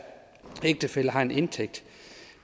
ægtefælle har en indtægt